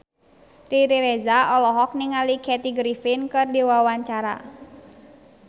Riri Reza olohok ningali Kathy Griffin keur diwawancara